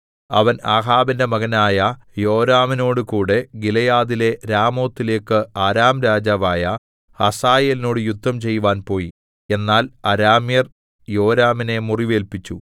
അവൻ ആഹാബിന്റെ മകനായ യോരാമിനോടുകൂടെ ഗിലെയാദിലെ രാമോത്തിലേക്ക് അരാം രാജാവായ ഹസായേലിനോട് യുദ്ധം ചെയ്‌വാൻ പോയി എന്നാൽ അരാമ്യർ യോരാമിനെ മുറിവേല്പിച്ചു